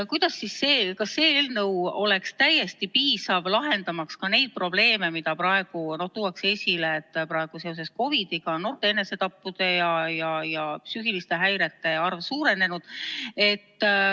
Kas meie eelnõu oleks täiesti piisav, lahendamaks ka neid probleeme, mida praegu tuuakse esile – seda, et seoses COVID-iga on noorte enesetappude ja psüühiliste häirete arv suurenenud?